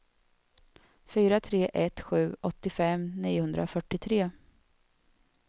fyra tre ett sju åttiofem niohundrafyrtiotre